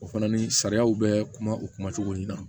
O fana ni sariyaw bɛ kuma u kuma cogo ɲin